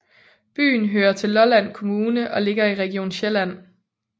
Byen hører til Lolland Kommune og ligger i Region Sjælland